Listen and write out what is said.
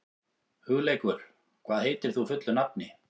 Hugleikur, hvað heitir þú fullu nafni?